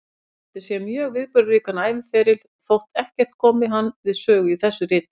Hann átti sér mjög viðburðaríkan æviferil, þótt ekkert komi hann við sögu í þessu riti.